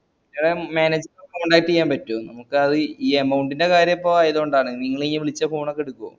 manager ഏ contact ചെയ്യബറ്റോ നമുക്ക് അതീ amount ന്റെ കാര്യംപ്പോ ആയോണ്ടാണ് നിങ്ങളീ വിളിച്ച phone ഒക്കെട്ക്കോ